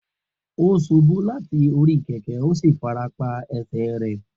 O ṣubu lati ori keke o si farapa ẹsẹ rẹ.